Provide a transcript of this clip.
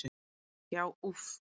Já, úff.